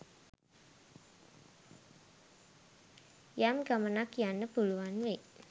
යම් ගමනක් යන්න පුළුවන් වෙයි